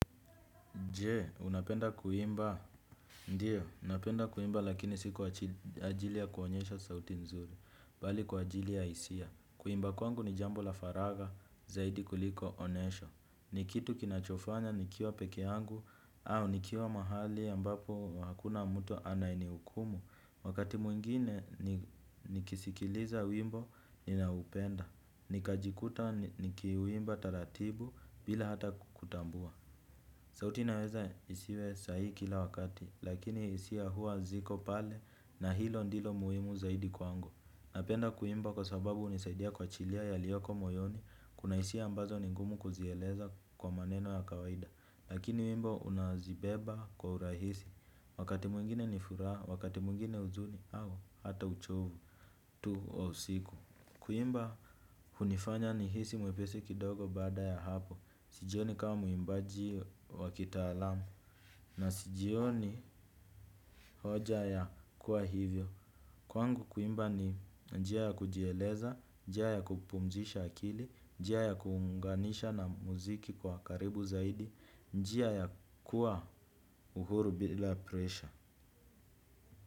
Je, unapenda kuimba? Ndiyo, napenda kuimba lakini si kwa ajili ya kuonyesha sauti nzuri, bali kwa ajili ya hisia. Kuimba kwangu ni jambo la faraga, zaidi kuliko onesho. Ni kitu kinachofanya nikiwa peke yangu au nikiwa mahali ambapo hakuna mtu anayenihukumu. Wakati mwingine nikisikiliza wimbo, ninaoupenda. Nikajikuta nikiuimba taratibu bila hata kutambua. Sauti naweza isiwe sahi kila wakati, lakini isi ya huwa ziko pale na hilo ndilo muimu zaidi kwa ango. Napenda kuimba kwa sababu unisaidia kwa chilia ya liyoko moyoni, kuna isi ambazo ningumu kuzieleza kwa maneno ya kawaida. Lakini wimbo unazibeba kwa urahisi, wakati mwingine ni furaha, wakati mwingine huzuni au hata uchovu tu wa usiku. Kuimba hunifanya nihisi mwepesi kidogo baada ya hapo. Sijioni kama mwimbaji wa kitaalamu. Na sijioni hoja ya kuwa hivyo. Kwangu kuimba ni njia ya kujeleza, njia ya kupumzisha akili, njia ya kuunganisha na muziki kwa karibu zaidi, njia ya kuwa uhuru bila presha.